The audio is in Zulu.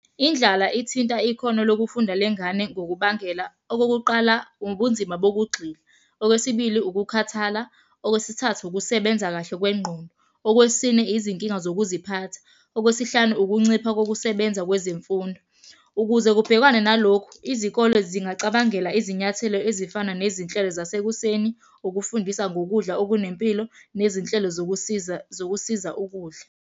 Indlala ithinta ikhono lokufunda lengane ngokubangela. Okokuqala, ubunzima bokugxila. Okwesibili, ukukhathala. Okwesithathu, ukusebenza kahle kwengqondo. Okwesine, izinkinga zokuziphatha. Okwesihlanu, ukuncipha kokusebenza kwezemfundo. Ukuze kubhekwane nalokhu, izikole zingacabangela izinyathelo ezifana nezinhlelo zasekuseni, ukufundisa ngokudla okunempilo, nezinhlelo zokusiza zokusiza ukudla.